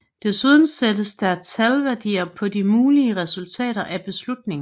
Desuden sættes der talværdier på de mulige resultater af beslutningen